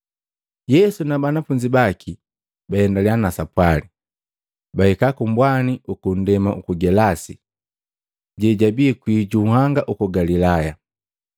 Yesu na banafunzi baki baendaliya na sapwali, bahika kumbwani uku nndema uku Gelasi, jejibii kwii junhanga uku Galilaya.